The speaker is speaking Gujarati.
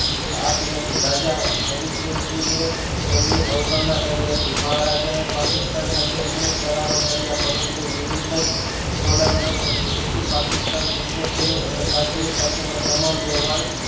આપી હતી રાજા હરિસિહજી એ તેમની અવગણના કરી હતી મહારાજા એ પાકિસ્તાન સાથે અમુક કરારો કર્યા પરંતુ વિવિધત જોડાણ ન કર્યું જેથી પાકિસ્તાન ગુસ્સે થયું અને કાશ્મીર સાથે નો તમામ વ્યવહાર